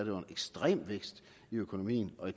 jo en ekstrem vækst i økonomien og